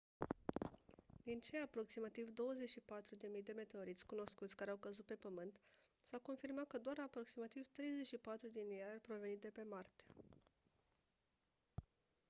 din cei aproximativ 24.000 de meteoriți cunoscuți care au căzut pe pământ s-a confirmat că doar aproximativ 34 din ei ar proveni de pe marte